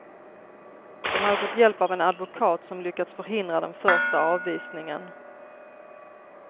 De hade fått hjälp av en advokat som lyckats förhindra den första avvisningen.